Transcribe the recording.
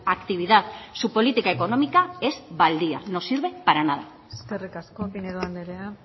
actividad su política económica es baldía no sirve para nada eskerrik asko pinedo andrea